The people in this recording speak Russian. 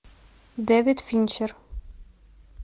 дэвид финчер